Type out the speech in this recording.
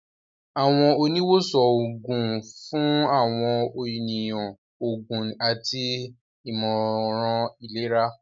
Àwọn oni wosan oogun fun awọn eniyan oògùn àti imọran ilera.